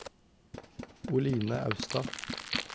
Oline Austad